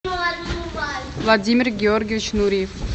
владимир георгиевич нуриев